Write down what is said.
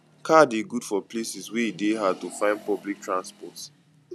car de good for places wey e de hard to find public transport